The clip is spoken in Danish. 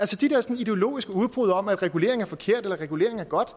til de der sådan ideologiske udbrud om at regulering er forkert eller regulering er godt